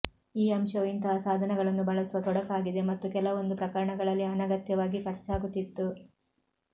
ಈ ಅಂಶವು ಇಂತಹ ಸಾಧನಗಳನ್ನು ಬಳಸುವ ತೊಡಕಾಗಿದೆ ಮತ್ತು ಕೆಲವೊಂದು ಪ್ರಕರಣಗಳಲ್ಲಿ ಅನಗತ್ಯವಾಗಿ ಖರ್ಚಾಗುತ್ತಿತ್ತು